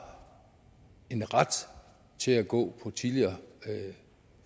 en ret til at gå på tidligere